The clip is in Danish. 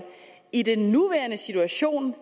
i den nuværende situation